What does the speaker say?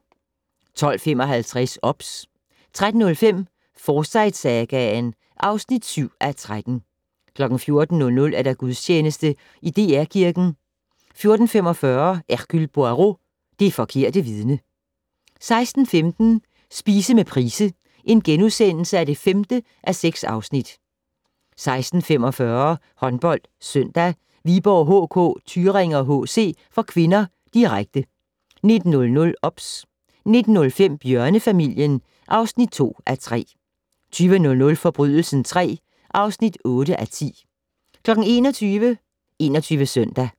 12:55: OBS 13:05: Forsyte-sagaen (7:13) 14:00: Gudstjeneste i DR Kirken 14:45: Hercule Poirot: Det forkerte vidne 16:15: Spise med Price (5:6)* 16:45: HåndboldSøndag: Viborg HK-Thüringer HC (k), direkte 19:00: OBS 19:05: Bjørnefamilien (2:3) 20:00: Forbrydelsen III (8:10) 21:00: 21 Søndag